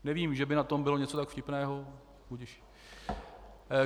Nevím, že by na tom bylo něco tak vtipného.